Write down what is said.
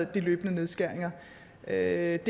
de løbende nedskæringer det er